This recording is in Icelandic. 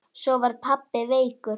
Svo var pabbi veikur.